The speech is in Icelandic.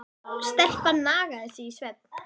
Stelpan nagaði sig í svefn.